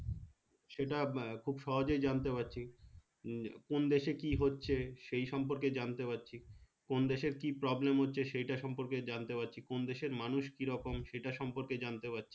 সেটা খুব সহজেই জানতে পারছি কোন দেশে কি হচ্ছে সেই সম্পর্কে জানতে পারছি কোন দেশে কি problem হচ্ছে সেটা সম্পর্কে জানতে পারছি কোন দেশের মানুষ কিরকম সেটা সম্পর্কে জানতে পারছি